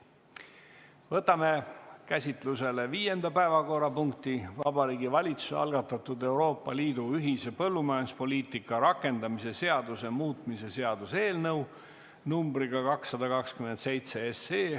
Võtame käsitlusele viienda päevakorrapunkti: Vabariigi Valitsuse algatatud Euroopa Liidu ühise põllumajanduspoliitika rakendamise seaduse muutmise seaduse eelnõu 227.